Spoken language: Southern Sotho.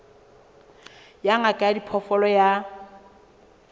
ya ngaka ya diphoofolo ya